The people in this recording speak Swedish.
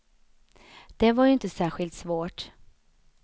Det var ju inte särskilt svårt.